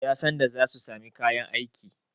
Yansanda za su sami kayan aiki.